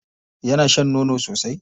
Yana shan nono sosai?